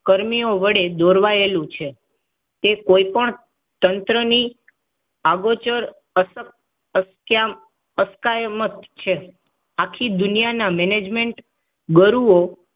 કર્મીઓ વડે દોરેલું છે તે કોઇ પણ તંત્રની આ ગોચર અસક એમ છે આખી દુનિયાના મેનેજમેન્ટ ગરૂવો